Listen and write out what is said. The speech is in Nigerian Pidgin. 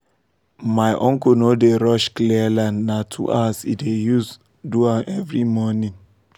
my uncle no dey rush clear land na two hours e dey use um do am for every morning